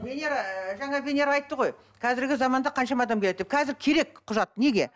венера ыыы жаңа венера айтты ғой қазіргі заманда қаншама адам келеді деп қазір керек құжат неге